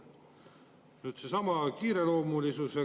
Nüüd, seesama kiireloomulisus.